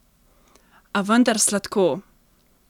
A vendar sladko!